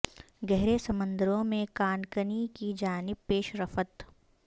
گہرے سمندروں میں کان کنی کی جانب پیش رفت